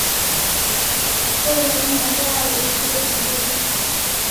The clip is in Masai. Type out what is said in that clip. ore ena naa keyau eishoi enterit